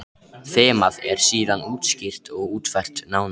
Þemað er síðan útskýrt og útfært nánar.